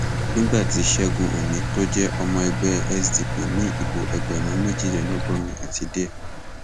nígbà tí ṣẹgun òní tó jẹ ọmọ ẹgbẹ sdp ní ìbò ẹgbẹrún méjìlélọgọrin àti díẹ